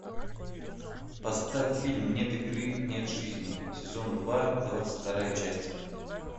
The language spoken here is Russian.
поставь фильм нет игры нет жизни сезон два двадцать вторая часть